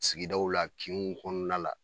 Sigidaw la kinw kɔnɔna la.